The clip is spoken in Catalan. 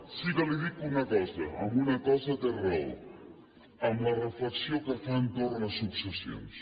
sí que li dic una cosa en una cosa té raó amb la reflexió que fa entorn de successions